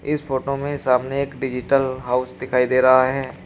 इस फोटो में सामने एक डिजिटल हाउस दिखाई दे रहा है।